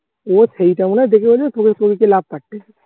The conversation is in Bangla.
ও সেইটা মনে দেখে ভেবেছে তুমি love পাঠিয়েছো